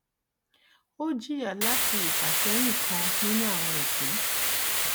ó jìyà láti ifàsẹ́yìn kan nínú àwọn ìpín.